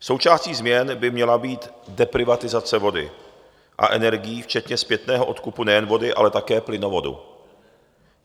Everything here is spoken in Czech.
Součástí změn by měla být deprivatizace vody a energií včetně zpětného odkupu nejen vody, ale také plynovodu.